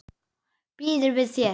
Býður við þér.